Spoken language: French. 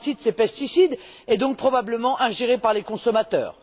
Une partie de ces pesticides est donc probablement ingérée par les consommateurs.